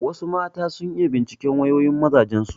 Wasu mata sun iya binciken wayoyin mazajen su.